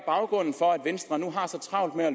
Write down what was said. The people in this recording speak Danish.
for at venstre nu har så travlt med at